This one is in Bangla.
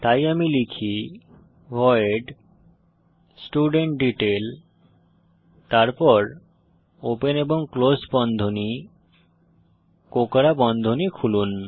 তাই আমি লিখি ভয়েড স্টুডেন্টডিটেইল তারপর ওপেন এবং ক্লোস বন্ধনী কোঁকড়া বন্ধনী খুলুন